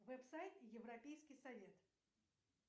вэб сайт европейский совет